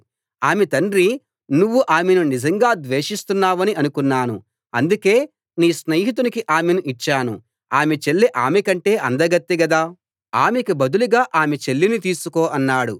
ఆమె తండ్రి నువ్వు ఆమెను నిజంగా ద్వేషిస్తున్నావని అనుకున్నాను అందుకే నీ స్నేహితునికి ఆమెను ఇచ్చాను ఆమె చెల్లి ఆమె కంటే అందకత్తె గదా ఆమెకు బదులుగా ఆమె చెల్లిని తీసుకో అన్నాడు